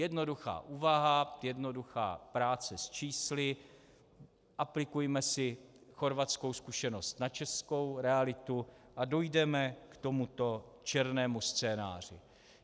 Jednoduchá úvaha, jednoduchá práce s čísly, aplikujme si chorvatskou zkušenost na českou realitu a dojdeme k tomuto černému scénáři.